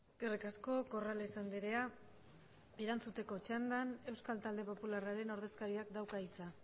eskerrik asko corrales andrea erantzuteko txandan euskal talde popularraren ordezkariak dauka hitza